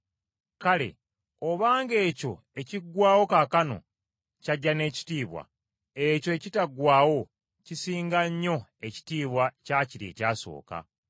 Kale obanga ekyo ekiggwaawo kaakano kyajja n’ekitiibwa, ekyo ekitaggwaawo kisinga nnyo ekitiibwa kya kiri ekyasooka.